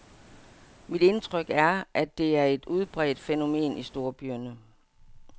Mit indtryk er, at det er et udbredt fænomen i storbyerne.